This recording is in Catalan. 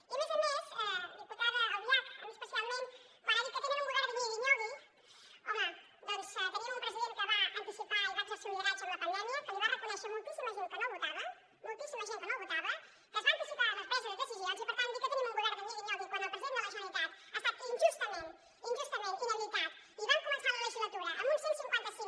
i a més a més diputada albiach a mi especialment quan ha dit que tenen un govern de nyigui nyogui home doncs tenim un president que va anticipar i va exercir un lideratge amb la pandèmia que li ho va reconèixer moltíssima gent que no el votava moltíssima gent que no el votava que es va anticipar a la presa de decisions i per tant dir que tenim un govern de nyigui nyogui quan el president de la generalitat ha estat injustament injustament inhabilitat i vam començar la legislatura amb un cent i cinquanta cinc